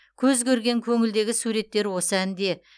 көз көрген көңілдегі суреттер осы әнде